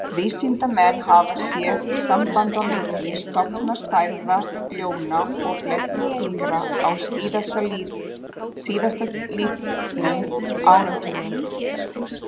Vísindamenn hafa séð samband á milli stofnstærða ljóna og blettatígra á síðastliðnum áratugum.